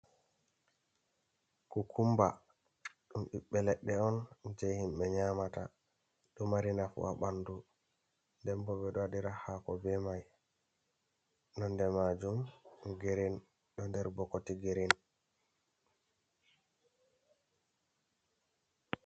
kukumba dum ɓiɓɓe leɗɗe on je himbe nyamata, ɗo mari nafu ha bandu denbo ɓedo waɗira hako be mai nonde majum girin ɗo nder bokoti girin.